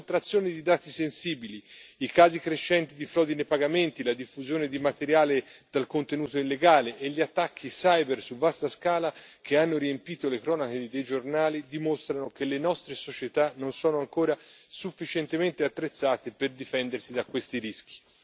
La sottrazione di dati sensibili, i casi crescenti di frodi nei pagamenti, la diffusione di materiale dal contenuto illegale e gli attacchi cyber su vasta scala, che hanno riempito le cronache dei giornali, dimostrano che le nostre società non sono ancora sufficientemente attrezzate per difendersi da questi rischi.